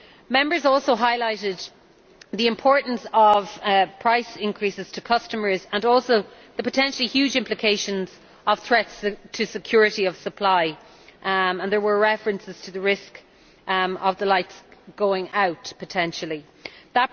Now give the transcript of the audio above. Members also highlighted the importance of price increases to customers and also the potentially huge implications of threats to security of supply, and there were references to the risk of the lights potentially going out.